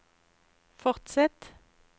fortsett